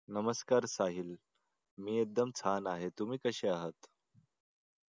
नमस्कार साहिल मी एकदम छान आहे. तुम्ही कसे आहात?